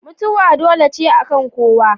Mutuwa dole ce akan kowa